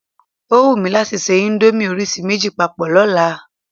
O wù mí láti ṣe íńdómì orísìí méjì papọ̀ lọ́la.